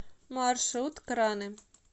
маршрут краны